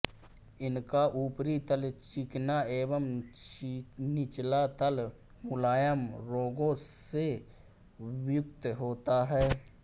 इनका ऊपरी तल चिकना एवं निचला तल मुलायम रोगों से युक्त होता है